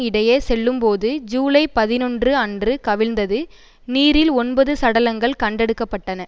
இடையே செல்லும்போது ஜூலை பதினொன்று அன்று கவிழ்ந்தது நீரில் ஒன்பது சடலங்கள் கண்டெடுக்கப்பட்டன